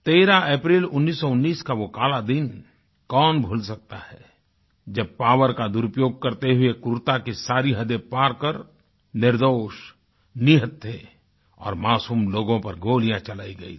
13 अप्रैल 1919 का वो काला दिन कौन भूल सकता है जब पॉवर का दुरुपयोग करते हुए क्रूरता की सारी हदें पारकर निर्दोष निहत्थे और मासूम लोगों पर गोलियाँ चलाई गयी थी